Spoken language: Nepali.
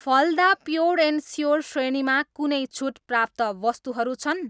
फलदा प्योर एन्ड स्योर श्रेणीमा कुनै छुट प्राप्त वस्तुहरू छन्?